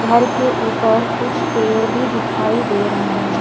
घर के ऊपर कुछ पेड़ भी दिखाई दे रहे हैं।